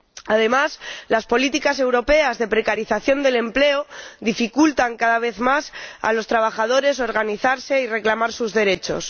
Además, las políticas europeas de precarización del empleo dificultan cada vez más a los trabajadores organizarse y reclamar sus derechos.